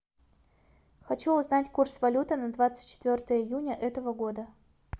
хочу узнать курс валюты на двадцать четвертое июня этого года